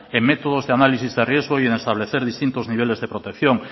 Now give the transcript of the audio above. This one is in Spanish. en métodos de análisis de riesgos y en establecer distintos niveles de protección